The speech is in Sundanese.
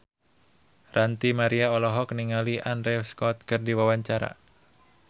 Ranty Maria olohok ningali Andrew Scott keur diwawancara